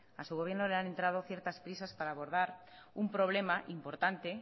a su gobierno le han entrado ciertas prisas para abordar un problema importante